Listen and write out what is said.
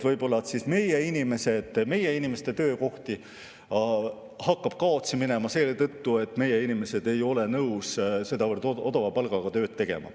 Võib-olla siis meie inimeste töökohti hakkab kaotsi minema selle tõttu, et meie inimesed ei ole nõus sedavõrd odava palgaga tööd tegema.